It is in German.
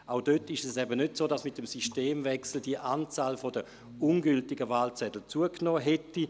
Auch dort ist es nicht so, dass mit dem Systemwechsel die Anzahl an ungültigen Wahlzetteln zugenommen hätte.